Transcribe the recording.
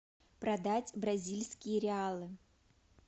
продать бразильские реалы